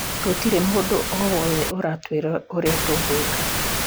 Gũtirĩ mũndu o wothe aratwĩra ũria tũgwĩka